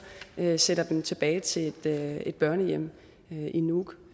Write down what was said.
sender dem tilbage til et børnehjem i nuuk